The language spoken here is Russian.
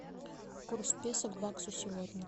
курс песо к баксу сегодня